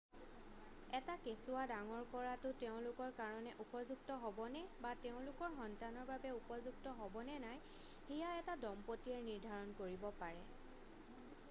এটা কেচুৱা ডাঙৰ কৰাটো তেওঁলোকৰ কাৰণে উপযুক্ত হ'বনে বা তেওঁলোকৰ সন্তানৰ বাবে উপযুক্ত হ'বনে নাই সেয়া এটা দম্পতীয়ে নিৰ্ধাৰণ কৰিব পাৰে